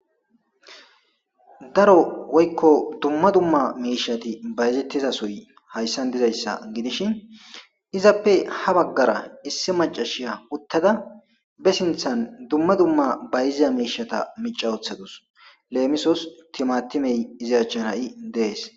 Daro woykko dumma dumma miishati bayzettiza suy hayssan dizayssa gidishin izappe ha baggara issi macashiya uttada be sinthan dumma dumma bayziza miishata mica wothadus leemisos timatimey iziyachan ha'i dees.